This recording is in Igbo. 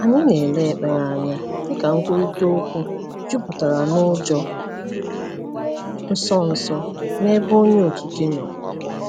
Anyị na - ele ekpere anya dịka nkwurịta okwu jupụtara n’ụjọ nsọ nsọ n’ebe Onye Okike nọ.